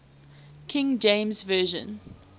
king james version